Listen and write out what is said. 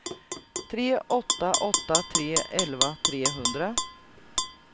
tre åtta åtta tre elva trehundra